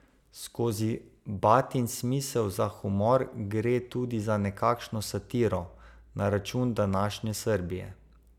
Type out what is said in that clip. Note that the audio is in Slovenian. Skozi Batin smisel za humor gre tudi za nekakšno satiro na račun današnje Srbije.